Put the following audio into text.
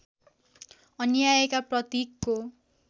अन्यायका प्रतीकको